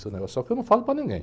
Só que eu não falo para ninguém.